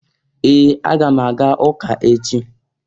Ee! Aga m aga ụka echi.